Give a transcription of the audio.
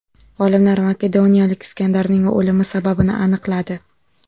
Olimlar makedoniyalik Iskandarning o‘limi sababini aniqladi.